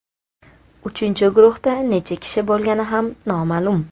Uchinchi guruhda necha kishi bo‘lgani ham noma’lum.